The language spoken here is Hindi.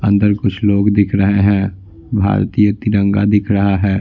अंदर कुछ लोग दिख रहे हैं भारतीय तिरंगा दिख रहा है।